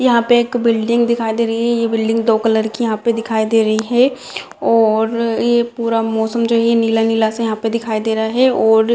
यहाँ पे एक बिल्डिंग दिखाई दे रही है ये बिल्डिंग दो कलर की यहाँ पे दिखाई दे रही है और ये पूरा मौसम जो है नीला-नीला सा यहाँ पे दिखाई दे रहा है और--